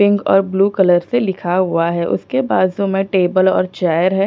Pink और blue colour से लिखा हुआ है उसके बाजू में टेबल और चेयर है।